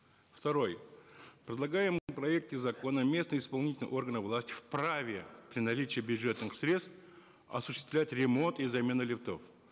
второй предлагаемые в проекте закона местные исполнительные органы власти вправе при наличии бюджетных средств осуществлять ремонт и замену лифтов